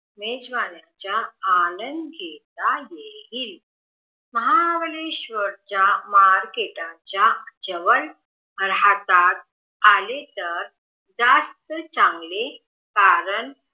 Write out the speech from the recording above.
मेजवानीच्या आनंद घेता येईल महाबळेश्वर च्या मार्केटाच्या जवळ राहता आले तर जास्त चांगले कारण